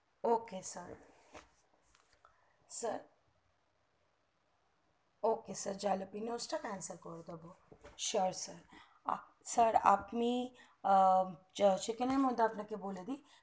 ok sir sir ok sir jalapeno টা cancel করে দেব sure sir sir আপনি second এর মধ্যে আপনাকে বলে দেই